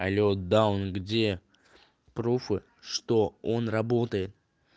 алло даун где пруфы что он работает